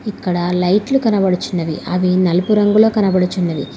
అక్కడ లైట్లు కనబడుచున్నవి అవి నలుపు రంగులో కనబడుచున్నవి.